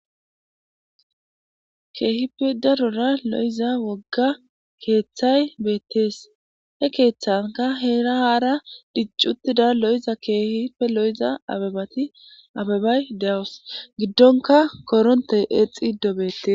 Kehipe darora lo'iza woga kethay betes he kethanka hra hara dichi lo'iza kehi abebati abebay de'awus gidonka kortey exido betes